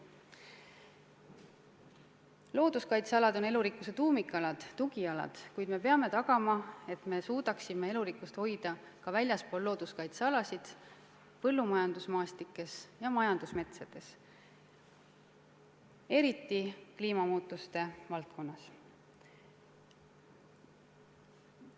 Looduskaitsealad on elurikkuse tuumikalad, tugialad, kuid me peame tagama, et me suudame elurikkust hoida ka väljaspool looduskaitsealasid, põllumajandusmaastikes ja majandusmetsades, ning seda ka kliimamuutuste korral.